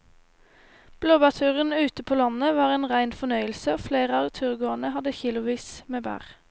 Blåbærturen ute på landet var en rein fornøyelse og flere av turgåerene hadde kilosvis med bær.